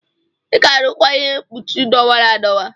Ị ga-arụkwa ihe mkpuchi dọwara adọwa!